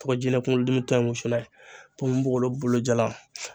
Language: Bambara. To ga jinɛ kunkolodimi tow in wusu n'a ye ponponpogolon bolo jala